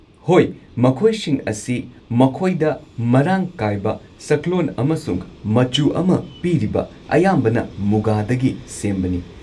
ꯍꯣꯏ, ꯃꯈꯣꯏꯁꯤꯡ ꯑꯁꯤ ꯃꯈꯣꯏꯗ ꯃꯔꯥꯡ ꯀꯥꯏꯕ ꯁꯛꯂꯣꯟ ꯑꯃꯁꯨꯡ ꯃꯆꯨ ꯑꯃ ꯄꯤꯔꯤꯕ ꯑꯌꯥꯝꯕꯅ ꯃꯨꯒꯥꯗꯒꯤ ꯁꯦꯝꯕꯅꯤ꯫